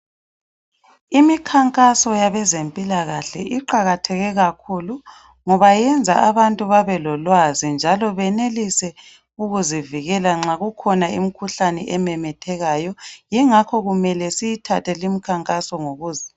Imikhankaso yabezempilakahle iqakathekile kakhulu ngoba yenza abantu babe lolwazi njalo benelise ukuzivikela nxa kukhona imkhuhlane ememethekayo yingakho kumele siyithathe le imkhankaso ngokuza.